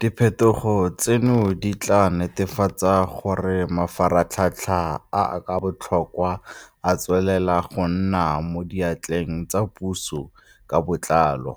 Diphetogo tseno di tla netefatsa gore mafaratlhatlha a a botlhokwa a tswelela go nna mo diatleng tsa puso ka botlalo,